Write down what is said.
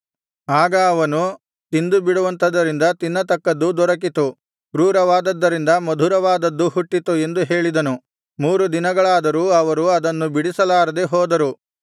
ಆಗ ಅವನು ತಿಂದುಬಿಡುವಂಥದರಿಂದ ತಿನ್ನತಕ್ಕದ್ದು ದೊರಕಿತು ಕ್ರೂರವಾದದ್ದರಿಂದ ಮಧುರವಾದದ್ದು ಹುಟ್ಟಿತು ಎಂದು ಹೇಳಿದನು ಮೂರು ದಿನಗಳಾದರೂ ಅವರು ಅದನ್ನು ಬಿಡಿಸಲಾರದೆ ಹೋದರು